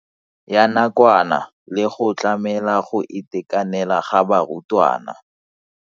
Ya nakwana le go tlamela go itekanela ga barutwana.